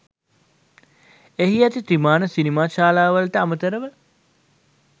එහි ඇති ත්‍රිමාණ සිනමා ශාලාවලට අමතරව